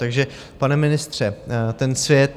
Takže pane ministře, ten svět...